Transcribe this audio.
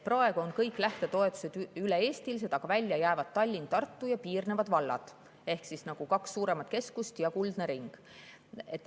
Praegu on kõik lähtetoetused üle-eestilised, aga välja jäävad Tallinn, Tartu ja piirnevad vallad ehk kaks suuremat keskust ja kuldne ring.